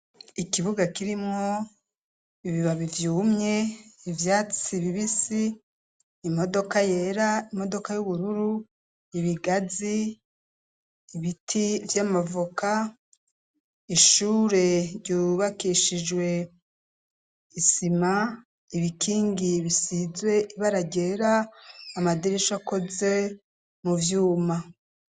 Ikibuga kirimwo ibibabi vyumye ivyatsi bibisi imodoka yera, imodoka y'ubururu, ibigazi, ibiti vy'amavoka, ishure ryubakishijwe isima, ibikingi bisizwe ibara ryera amadirisha akoze mu byuma